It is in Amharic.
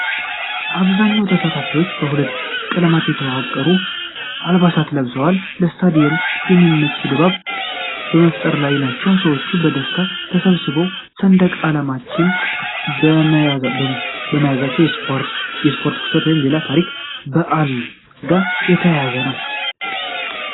አብዛኛዎቹ ተሳታፊዎች በሁለቱ ቀለማት የተዋቀሩ አልባሳትን ለብሰው፣ ለስታዲየም የሚመች ድባብ በመፍጠር ላይ ናቸው። ሰዎች በደስታ ተሰብስበው ሰንደቅ ዓላማዎችን መያዛቸው ከስፖርት ክስተት ወይም ከሌላ ታሪካዊ በዓል ጋር የተያያዘ ነው?